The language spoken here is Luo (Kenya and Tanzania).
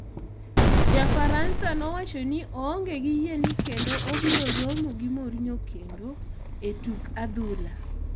Ja Faransa no nowachoni oonge gi yie ni kendo obiro romo gi Mourinho kendo e tuk adhula.